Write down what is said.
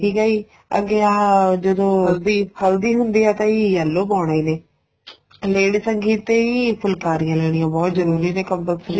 ਠੀਕ ਏ ਜੀ ਅੱਗੇ ਆਹ ਜਦੋ ਹਲਦੀ ਹੁੰਦੀ ਏ ਤਾਂ ਜੀ yellow ਪਾਉਣਾ ਇਹਨੇ lady ਸੰਗੀਤ ਤੇ ਹੀ ਫੁਲਕਾਰੀਆਂ ਲੈਣੀਆਂ ਬਹੁਤ ਜਰੂਰੀ ਨੇ compulsory